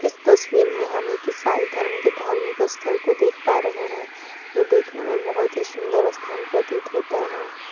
इस तस्वीर में हमें ईसाई धर्म के धार्मिक स्थल को देख पा रहे हैं यह देखने में बहुत ही सुंदर स्थान प्रतित होता है।